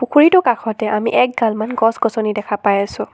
পুখুৰীটোৰ কাষতে আমি একগালমান গছ গছনি দেখা পাই আছোঁ।